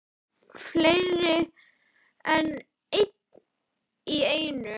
Fleiri en einn í einu?